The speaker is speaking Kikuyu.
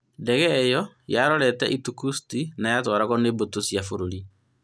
Ndege ĩyo yarorete Irkutsk na yatwaragwo nĩ mbũtũ cia bũrũri.